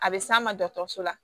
A bɛ s'a ma dɔgɔtɔrɔso la